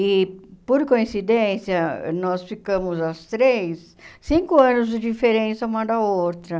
E, por coincidência, nós ficamos as três, cinco anos de diferença uma da outra.